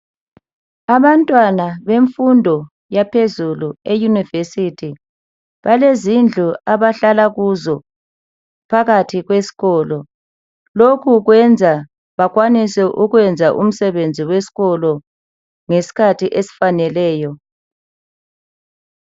Abantwana bemfundo yaphezulu euniversity balezindlu abahlalakuzo phakathi kweskolo. Lokhu kwenza bakwanise ukwenza umsebenzi weskolo ngeskhathi esfaneleyo .